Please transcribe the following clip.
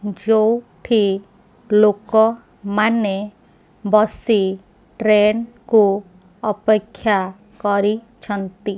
ଯୋଉଠି ଲୋକ ମାନେ ବସି ଟ୍ରେନ କୁ ଅପେକ୍ଷା କରିଛିନ୍ତି।